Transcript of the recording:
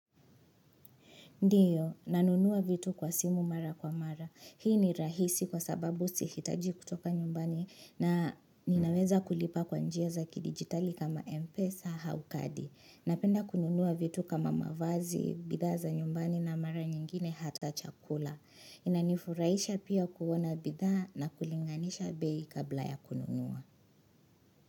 Ndiyo, nanunua vitu kwa simu mara kwa mara. Hii ni rahisi kwa sababu sihitaji kutoka nyumbani na ninaweza kulipa kwa njia za kidigitali kama MPESA au kadi. Napenda kununua vitu kama mavazi, bidhaa za nyumbani na mara nyingine hata chakula. Inanifurahisha pia kuona bidhaa na kulinganisha bei kabla ya kununua.